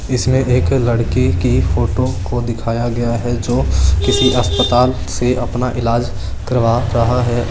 इसमें एक लड़के कि फोटो को दिखाई गया है जो किसी हस्पताल से अपना इलाज करवा रहा है।